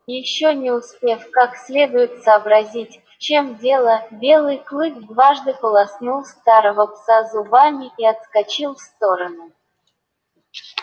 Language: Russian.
ещё не успев как следует сообразить в чем дело белый клык дважды полоснул старого пса зубами и отскочил в сторону